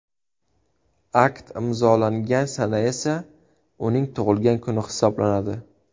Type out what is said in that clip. Akt imzolangan sana esa uning tug‘ilgan kuni hisoblanadi.